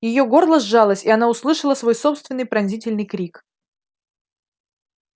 её горло сжалось и она услышала свой собственный пронзительный крик